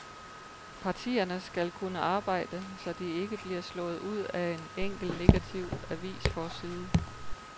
Partierne skal kunne arbejde, så de ikke bliver slået ud af en enkelt negativ avisforside.